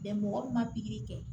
mɔgɔ min ma pikiri kɛ